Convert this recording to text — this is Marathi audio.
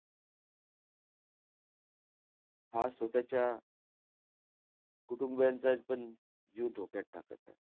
हा स्वतःच्या कुटुंबीयांचा पण जीव धोक्यात टाकत आहे.